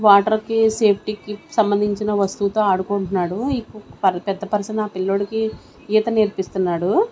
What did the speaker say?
Water కి safety కి సంబంధంచిన వస్తువు తో ఆడుకుంటున్నాడు ఇ పు పెద్ద పర్సన్ ఆ పిల్లోడికి ఈత నేర్పిస్తున్నాడు.